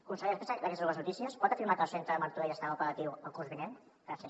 conseller respecte d’aquestes dues notícies pot afirmar que el centre de martorell estarà operatiu el curs vinent gràcies